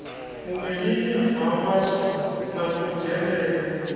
muvhilini ha vhaswa na kudzhenele